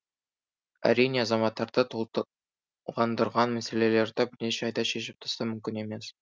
әрине азаматтарды толғандырған мәселелерді бірнеше айда шешіп тастау мүмкін емес